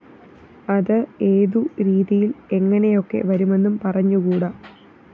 അത് ഏതു രീതിയില്‍ എങ്ങനെയൊക്കെ വരുമെന്നും പറഞ്ഞുകൂട